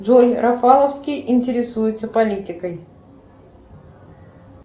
джой рафаловский интересуется политикой